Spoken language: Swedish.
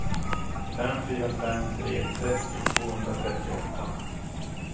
fem fyra fem tre trettio tvåhundratrettioåtta